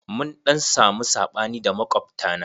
Mun ɗan samu saɓani da makwabta na.